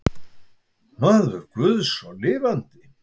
Maður guðs og lifandi.